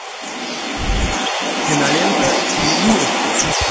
кинолента снегурочка